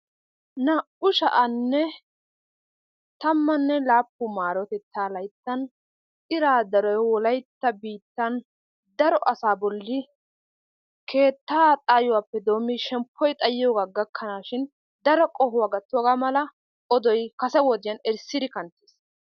2017 M.L iraa daro wolaytta biittan daro asa bolli keettaa xayuwaappe doomidi shemppuwa xayiyogga gakanashshin daro qohuwaa gattiyogga malla oddoy kasse wodiyan ersiddi kanttis.